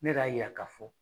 Ne k'a yira k'a fɔ